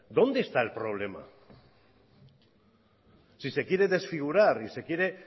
dónde está el problema si se quiere desfigurar y se quiere